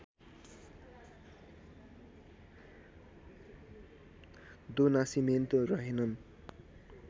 दो नासिमेन्तो रहेनन्